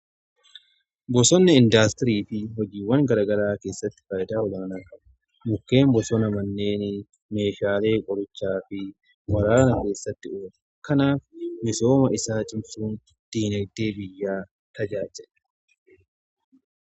Bosonni indaastirii fi hojiiwwan garaagaraa keessatti faayidaa olaanaa qabu. Mukkeen bosona manneen meeshaalee qorichaa fi waraana keessatti kanaaf misooma isaa cimsuu diinagdee biyyaa tajaajiluudha.